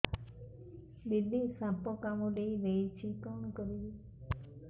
ଦିଦି ସାପ କାମୁଡି ଦେଇଛି କଣ କରିବି